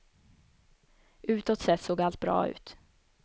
Utåt sett såg allt bra ut.